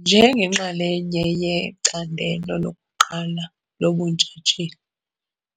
Njengenxalenye ye-ICandelo loku-1 lobuNtshatsheli